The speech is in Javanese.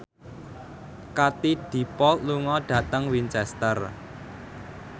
Katie Dippold lunga dhateng Winchester